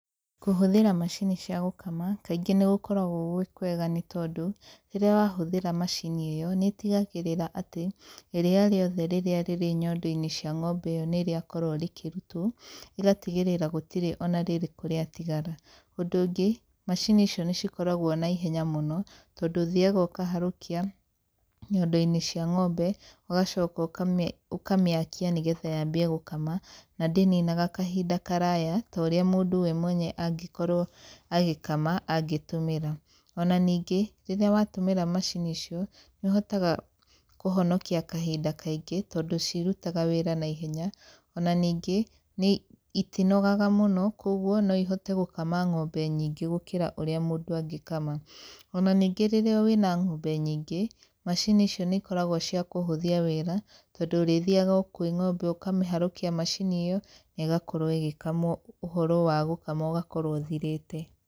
Kũhũthĩra macini cia gũkama, kaingĩ nĩ gũkoragwo gwĩ kwega nĩ tondũ, rĩrĩa wahũthĩra macini ĩyo, nĩ itgagĩrĩra atĩ, iriia rĩothe rĩrĩa rĩrĩ nyondo-inĩ cia ng'ombe ĩyo nĩ rĩakorwo rĩkĩrutwo, ĩgatigĩrĩra gũtirĩ ona rĩrĩkũ rĩatigara. Ũndũ ũngĩ, macini icio nĩ cikoragwo na ihenya mũno, tondũ ũthiaga ũkaharũkia nyondo-inĩ cia ng'ombe, ũgacoka ũkamĩakia nĩ getha yambie gũkama na ndĩninaga kahinda karaya ta ũrĩa mũndũ we mwenye angĩkorwo agĩkama angĩtũmĩra. Ona ningĩ, rĩrĩa watũmĩra macini icio, nĩ ũhotaga kũhonokia kahinda kaingĩ, tondũ cirutaga wĩra naihenya ona ningĩ, nĩ itinogaga mũno kũguo no ihote gũkama ng'ombe nyingĩ gũkĩra ũrĩa mũndũ angĩkama. Ona ningĩ rĩrĩa wĩna ng'ombe nyingĩ, macini icio nĩ ikoragwo cia kũhũthia wĩra, tondũ ũrĩthiaga o kwĩ ng'ombe ũkamĩharũkia macini ĩyo na ĩgakorwo ĩgĩkamwo ũhoro wa gũkama ũgakorwo ũthirĩte.